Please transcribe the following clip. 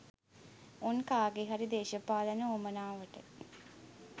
උන් කාගෙහරි දේශපාලන උවමනාවට